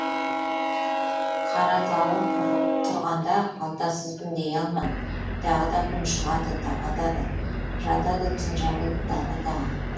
қаратауым тұрғанда қалтасызбын дей алман тағы да күн шығады таң атады жатады түн жамылып дала тағы